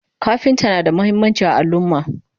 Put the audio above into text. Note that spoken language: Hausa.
kafinta na da muhimmanci a alumma